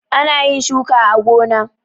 Ana yin shuka a gona.